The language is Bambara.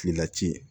Finna ci